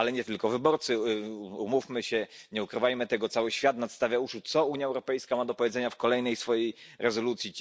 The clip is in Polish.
Ale nie tylko wyborcy umówmy się, nie ukrywajmy tego cały świat nadstawia uszu, co Unia Europejska ma do powiedzenia w kolejnej swojej rezolucji.